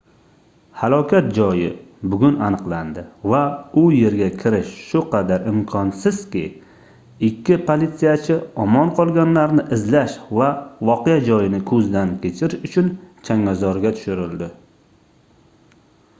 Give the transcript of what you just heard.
halokat joyi bugun aniqlandi va u yerga kirish shu qadar imkonsizki ikkita politsiyachi omon qolganlarni izlash va voqea joyini koʻzdan kechirish uchun changalzorga tushirildi